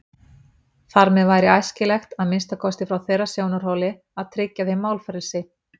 Þar með væri æskilegt, að minnsta kosti frá þeirra sjónarhóli, að tryggja þeim málfrelsi.